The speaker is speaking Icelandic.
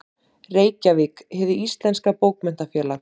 Reykjavík: Hið íslenska Bókmenntafélag.